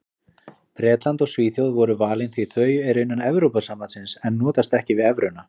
Bretland og Svíþjóð voru valin því þau eru innan Evrópusambandsins en notast ekki við evruna.